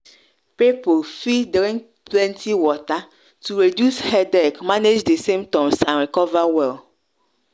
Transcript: people fit drink plenty water to reduce headache manage di symptoms and recover well.